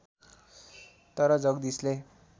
तर जगदीशले